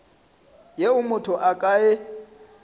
yeo motho a ka e